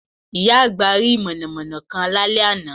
Ìyá àgbà rí múnámúná kan lálẹ́ àná